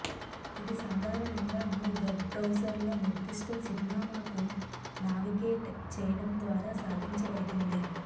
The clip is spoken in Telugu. ఇది సాధారణంగా మీ వెబ్ బ్రౌజర్లో నిర్దిష్ట చిరునామాకు నావిగేట్ చేయడం ద్వారా సాధించబడుతుంది